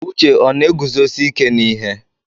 Uche ọ na-eguzosi ike n'ihe?